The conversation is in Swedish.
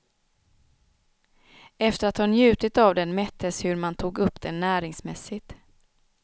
Efter att ha njutit av den mättes hur man tog upp den näringsmässigt.